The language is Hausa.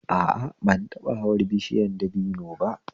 A a, ban taɓa hawan bishiyar dabino ba